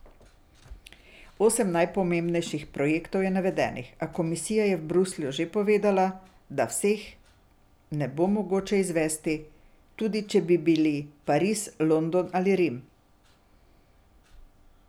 Osem najpomembnejših projektov je navedenih, a komisija je v Bruslju že povedala, da vseh ne bo mogoče izvesti, tudi če bi bili Pariz, London ali Rim.